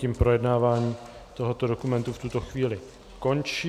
Tím projednávání tohoto dokumentu v toto chvíli končí.